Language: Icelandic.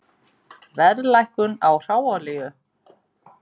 Verðlækkun á hráolíu